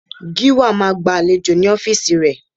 Gíwá máa gba àlejò ní ọ́fíìsì ré